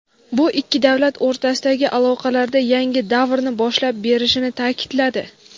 bu ikki davlat o‘rtasidagi aloqalarda yangi davrni boshlab berishini ta’kidladi.